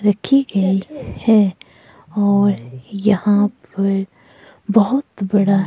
रखी गई है और यहां पर बहोत बड़ा--